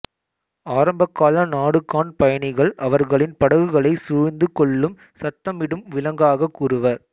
ஆரம்பகால நாடுகாண் பயணிகள் அவர்களின் படகுகளைச் சுழ்ந்து கொள்ளும் சத்தமிடும் விலங்காக கூறுவர்